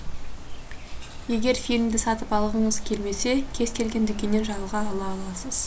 егер фильмді сатып алғыңыз келмесе кез келген дүкеннен жалға ала аласыз